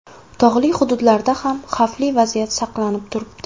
Tog‘li hududlarda ham xavfli vaziyat saqlanib turibdi.